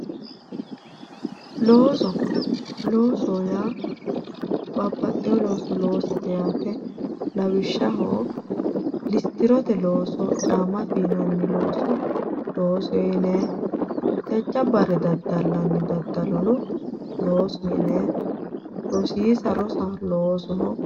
looso loossoho yaa babbaxewo looso loosate lawishshaho listirtirote looso caamma fiinanniha loosoho yinay jajjabba looso loosa rosiisa rosa loosoho yinay